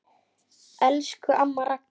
Elsku amma Ragga.